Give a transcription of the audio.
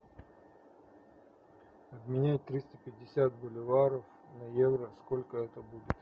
обменять триста пятьдесят боливаров на евро сколько это будет